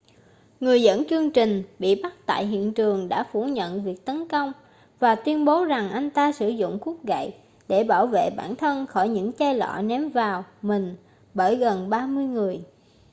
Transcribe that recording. người dẫn chương trình bị bắt tại hiện trường đã phủ nhận việc tấn công và tuyên bố rằng anh ta sử dụng khúc gậy để bảo vệ bản thân khỏi những chai lọ ném vào mình bởi gần ba mươi người